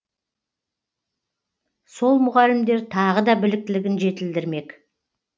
сол мұғалімдер тағы да біліктілігін жетілдірмек